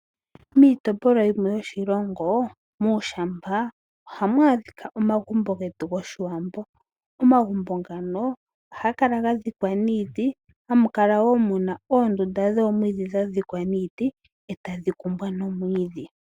Miitopolwa yimwe yoshilongo ohamu adhika omagumbo getu goshiwambo. Omagumbo ngano ohaga kala ga dhikwa niiti . Ohamu kala woo muna oondunda dhomwiidhi dha dhikwa niiti eta dhi kumbwa nomwiidhi.